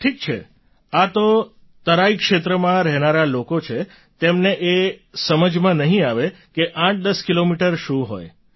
ઠીક છે આ જો મેદાનમાં રહેનારા લોકો છે તેમને એ સમજમાં નહીં આવે કે 810 કિલોમીટર શું હોય છે